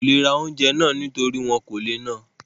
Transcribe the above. Wọn kò le ra oúnjẹ náà nítorí wọn kò le ná àn